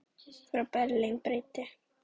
Frá Berlín breiddi